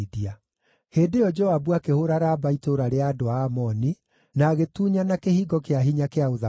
Hĩndĩ ĩyo Joabu akĩhũũra Raba itũũra rĩa andũ a Amoni, na agĩtunyana kĩhingo kĩa hinya kĩa ũthamaki.